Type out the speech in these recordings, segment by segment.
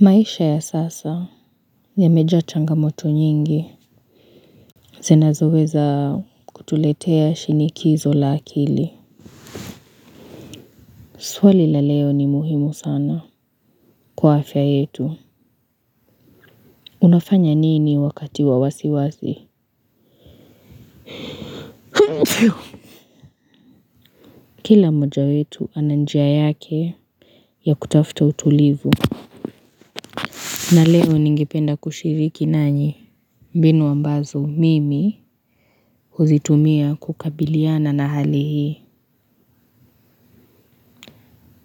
Maisha ya sasa yamejaa changamoto nyingi zinazo weza kutuletea shinikizo la akili. Swali la leo ni muhimu sana kwa afya yetu unafanya nini wakati wa wasiwasi? Pfff. Kila mmoja wetu ana njia yake ya kutafuta utulivu. Na leo ningependa kushiriki nanyi. Mbinu ambazo mimi huzitumia kukabiliana na hali hii.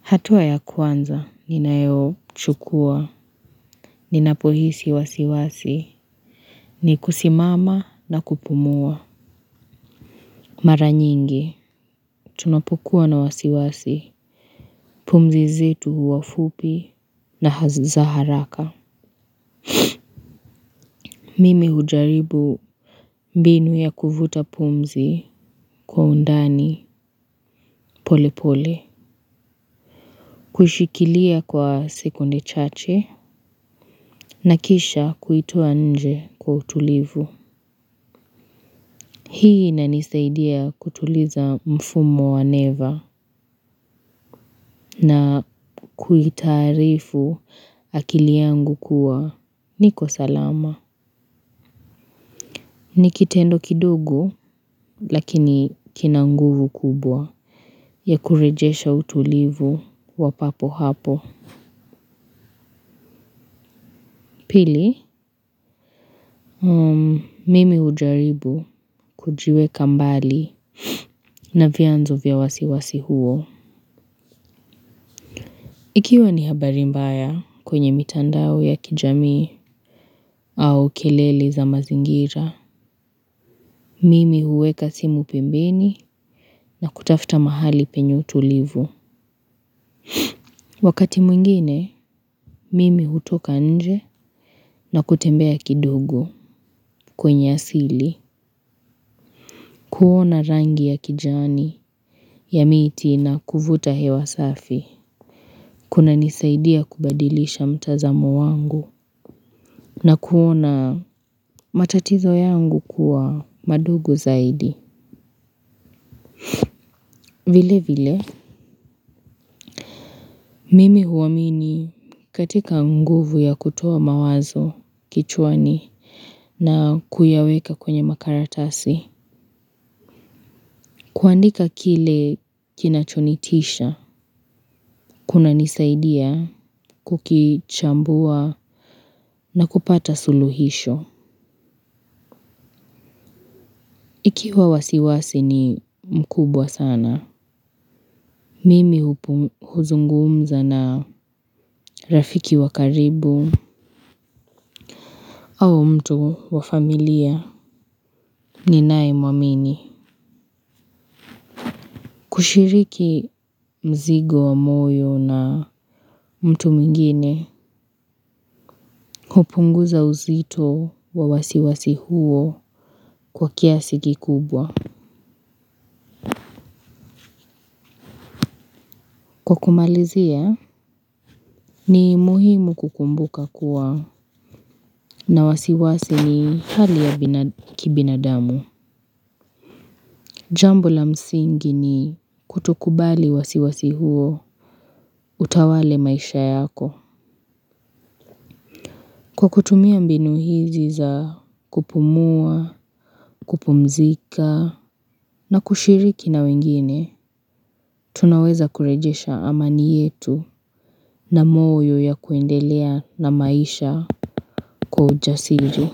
Hatua ya kwanza, ninayo chukuwa, ninapo hisi wasiwasi, ni kusimama na kupumua. Mara nyingi, tunapokuwa na wasiwasi, pumzi zetu huwa fupi na si za haraka. Mimi hujaribu mbinu ya kuvuta pumzi kwa undani polepole. Kuishikilia kwa sekunde chache, na kisha kuitoa nje kwa utulivu. Hii ina nisaidia kutuliza mfumo wa neva na kuitarifu akili yangu kuwa niko salama. Nikitendo kidogo lakini kina nguvu kubwa ya kurejesha utulivu wapapo hapo. Pili, mimi mmh hujaribu kujiweka mbali na vyanzo vya wasiwasi huo. Ikiwa ni habari mbaya kwenye mitandao ya kijamii au kelele za mazingira, mimi huweka simu pembeni na kutafuta mahali penye utulivu. Wakati mwingine, mimi hutoka nje na kutembea kidogo kwenye asili. Kuona rangi ya kijani ya miti na kuvuta hewa safi. Kuna nisaidia kubadilisha mtazamo wangu na kuona matatizo yangu kuwa madogo zaidi. Vile vile, mimi huamini katika nguvu ya kutoa mawazo kichwani na kuyaweka kwenye makaratasi. Kuandika kile kina kinacho nitisha, kuna nisaidia kukichambua na kupata suluhisho. Ikiwa wasiwasi ni mkubwa sana. Mimi hupu huzungumza na rafiki wakaribu au mtu wa familia ni naye mwamini. Kushiriki mzigo wa moyo na mtu mwingine. Hupunguza uzito wa wasiwasi huo kwa kiasi kikubwa. Kwa kumalizia, ni muhimu kukumbuka kuwa na wasiwasi ni hali ya binada kibinadamu. Jambo la msingi ni kutokubali wasiwasi huo utawale maisha yako. Kwa kutumia mbinu hizi za kupumua, kupumzika na kushiriki na wengine, tunaweza kurejesha amani yetu na moyo ya kuendelea na maisha kwa ujasijili.